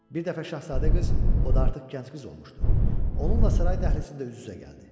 Bir dəfə şahzadə qız, o da artıq gənc qız olmuşdu, onunla saray dəhlizində üz-üzə gəldi.